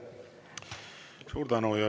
Suur tänu!